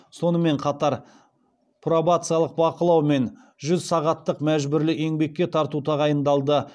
сонымен қатар пробациялық бақылау мен жүз сағаттық мәжбүрлі еңбекке тарту тағайындалды